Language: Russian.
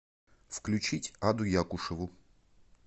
включить аду якушеву